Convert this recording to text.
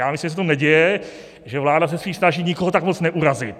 Já myslím, že se to neděje, že vláda se spíš snaží nikoho tak moc neurazit.